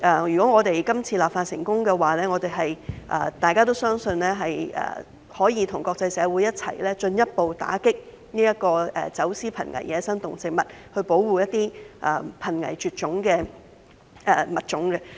如果我們今次立法成功，大家都相信可以與國際社會共同進一步打擊走私瀕危野生動植物，保護一些瀕危絕種的物種。